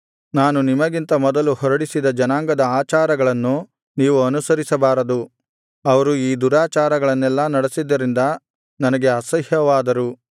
ನಾನು ನಿಮಗಿಂತ ಮೊದಲು ಹೊರಡಿಸಿದ ಜನಾಂಗದ ಆಚಾರಗಳನ್ನು ನೀವು ಅನುಸರಿಸಬಾರದು ಅವರು ಈ ದುರಾಚಾರಗಳನ್ನೆಲ್ಲಾ ನಡಿಸಿದ್ದರಿಂದ ನನಗೆ ಅಸಹ್ಯವಾದಾರು